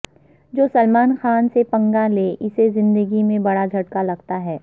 جو سلمان خان سے پنگا لے اسے زندگی میں بڑا جھٹکا لگتا ہے